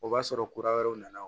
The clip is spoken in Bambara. O b'a sɔrɔ kura wɛrɛw nana